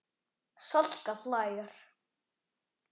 Salka hlær.